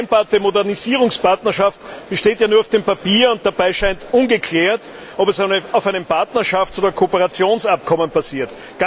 Die vereinbarte Modernisierungspartnerschaft besteht ja nur auf dem Papier, und dabei scheint ungeklärt, ob es auf einem Partnerschafts oder einem Kooperationsabkommen basiert.